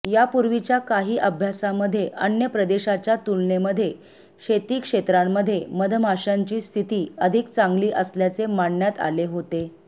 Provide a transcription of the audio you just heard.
यापूर्वीच्या काही अभ्यासामध्ये अन्य प्रदेशाच्या तुलनेमध्ये शेतीक्षेत्रामध्ये मधमाश्यांची स्थिती अधिक चांगली असल्याचे मांडण्यात आले होते